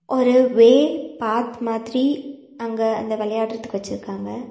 ஒரு வே பாத் மாதிரி அங்க அந்த வெளயாடுறதுக்கு வச்சிருக்காங்க.